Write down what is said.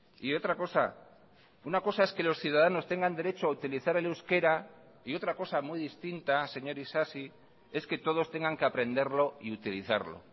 y otra cosa una cosa es que los ciudadanos tengan derecho a utilizar el euskera y otra cosa muy distinta señor isasi es que todos tengan que aprenderlo y utilizarlo